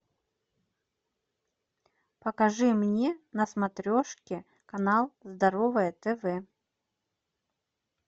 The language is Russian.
покажи мне на смотрешке канал здоровое тв